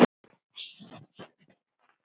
Gerður horfði ánægð á verkið.